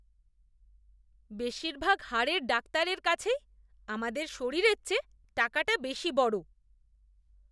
বেশিরভাগ হাড়ের ডাক্তারের কাছেই আমাদের শরীরের চেয়ে টাকাটা বেশী বড়।